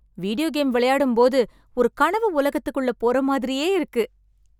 Video game விளையாடும்போது ஒரு கனவு உலகத்துக்குள்ள போற மாதிரியே இருக்கு.